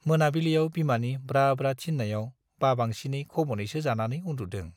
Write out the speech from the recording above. मोनाबिलियाव बिमानि ब्रा ब्रा थिन्नायाव बाबांसिन खब'नैसो जानानै उन्दुदों ।